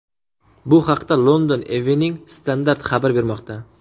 Bu haqda London Evening Standard xabar bermoqda .